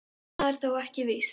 Það er þó ekki víst.